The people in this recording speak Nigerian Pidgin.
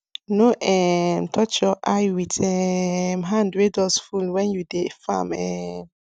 no um touch your eye with um hand wey dust full when you dey farm um